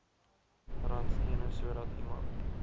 randstene sodat iemand